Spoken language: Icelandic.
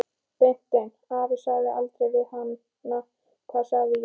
Beinteinn afi sagði aldrei við hana: Hvað sagði ég?